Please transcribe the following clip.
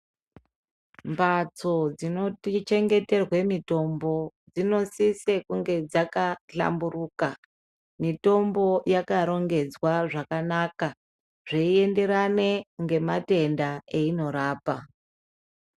Mbatso dzinochengeterwa mitombo dzinosisa kunge dzakahlamburuka mitombo yakarongedzwa zvakanaka zveienderana nematenda einorapa.